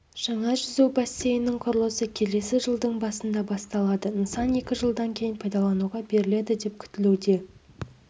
жаңа жүзу бассейнінің құрылысы келесі жылдың басында басталады нысан екі жылдан кейін пайдалануға беріледі деп күтілуде